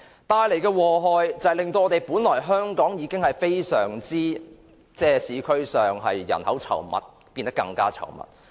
帶來的禍害是，香港本來人口已非常稠密的市區變得更擠迫。